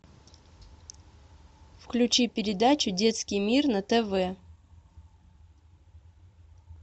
включи передачу детский мир на тв